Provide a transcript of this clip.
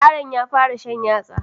Yaron ya fara shan yatsa